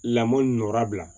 Lamɔ bila